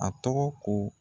A tɔgɔ ko